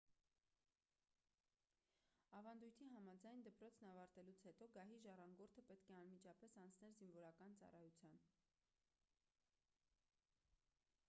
ավանդույթի համաձայն դպրոցն ավարտելուց հետո գահի ժառանգորդը պետք է անմիջապես անցներ զինվորական ծառայության